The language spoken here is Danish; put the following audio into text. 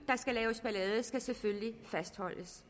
skal selvfølgelig fastholdes